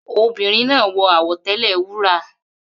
Obìnrin náà wọ àwọ̀tẹ́lẹ̀ wúrà.